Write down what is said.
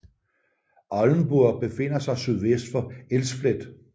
Oldenburg befinder sig sydvest for Elsfleth